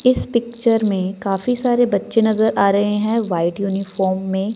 इस पिक्चर में काफी सारे बच्चे नजर आ रहे हैं व्हाइट यूनिफॉर्म में।